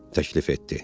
Təklif etdi.